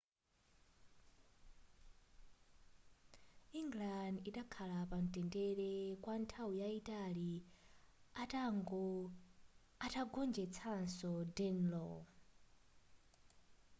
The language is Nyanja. england idakhala pamtendere kwa nthawi yayitali atagonjetsanso danelaw